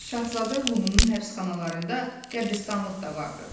Şahzadə Lumunun həbsxanalarında qəbristanlıq da vardı.